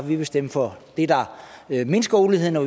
ville stemme for det der mindsker uligheden og